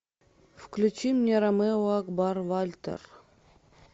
включи мне ромео акбар вальтер